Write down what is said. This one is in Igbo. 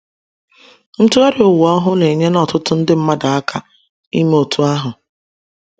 Ntụgharị Ụwa Ọhụrụ enyela ọtụtụ nde mmadụ aka ime otú ahụ.